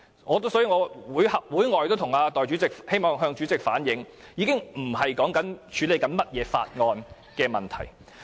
我在會外也曾向主席反映，這已經不是處理甚麼法案的問題。